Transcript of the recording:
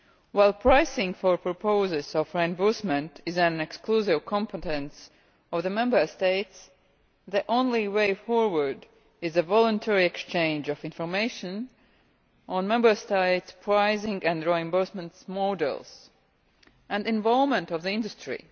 While pricing for proposals of reimbursement is an exclusive competence of the Member States, the only way forward is a voluntary exchange of information on Member States' pricing and reimbursement models, and involvement of the industry.